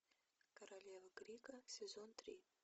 королева крика сезон три